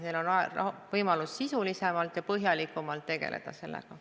Neil on võimalus sisulisemalt ja põhjalikumalt sellega tegeleda.